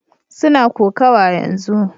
Suna kokawa yanzu